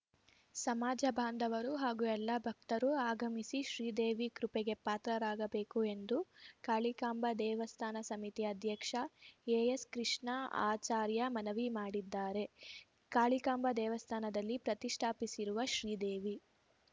ಸಮಾಜ ಬಾಂಧವರು ಹಾಗೂ ಎಲ್ಲ ಭಕ್ತರು ಆಗಮಿಸಿ ಶ್ರೀದೇವಿ ಕೃಪೆಗೆ ಪಾತ್ರರಾಗಬೇಕು ಎಂದು ಕಾಳಿಕಾಂಬಾ ದೇವಸ್ಥಾನ ಸಮಿತಿ ಅಧ್ಯಕ್ಷ ಎಎಸ್‌ ಕೃಷ್ಣಆಚಾರ್ಯ ಮನವಿ ಮಾಡಿದ್ದಾರೆ ಕಾಳಿಕಾಂಬ ದೇವಸ್ಥಾನದಲ್ಲಿ ಪ್ರತಿಷ್ಠಾಪಿಸಿರುವ ಶ್ರೀದೇವಿ